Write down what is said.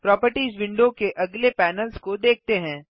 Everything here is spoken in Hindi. प्रोपर्टिज विंडो के अगले पैनल्स को देखते हैं